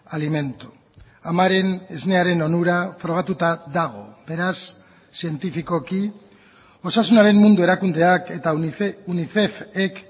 alimento amaren esnearen onura frogatuta dago beraz zientifikoki osasunaren mundu erakundeak eta unicefek